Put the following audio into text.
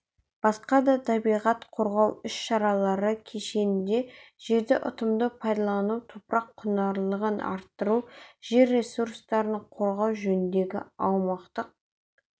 басқа да табиғат қорғау іс-шаралары кешенінде жерді ұтымды пайдалану топырақ құнарлылығын арттыру жер ресурстарын қорғау жөніндегі аймақтық